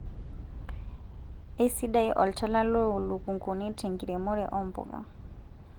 eisidai olchala loolukunguni tenkiremore oo mbuka